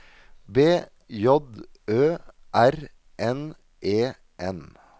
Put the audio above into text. B J Ø R N E N